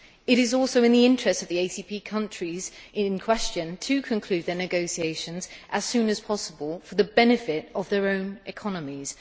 It is also in the interest of the ACP countries in question to conclude their negotiations as soon as possible for the benefit of their own economies.